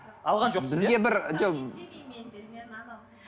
алған жоқсыз иә